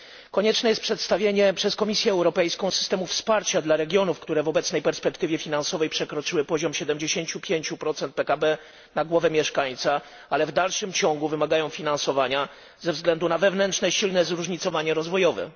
Konieczne jest przedstawienie przez Komisję Europejską systemu wsparcia dla regionów, które w obecnej perspektywie finansowej przekroczyły poziom 75 PKB na głowę mieszkańca, ale w dalszym ciągu wymagają finansowania ze względu na silne wewnętrzne zróżnicowania rozwojowe.